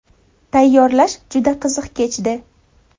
Tayyorlash juda qiziq kechdi”.